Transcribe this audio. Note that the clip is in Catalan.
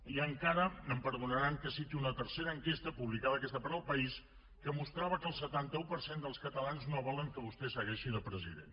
i encara em perdonaran que citi una tercera enquesta publicada aquesta per el país que mostrava que el setanta un per cent dels catalans no volen que vostè segueixi de president